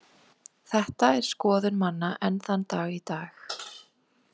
Þetta er skoðun manna enn þann dag í dag.